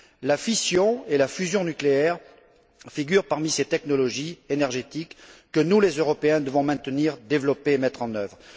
La fission et la fusion nucléaires figurent parmi ces technologies énergétiques que nous, Européens, devons maintenir, développer et mettre en œuvre.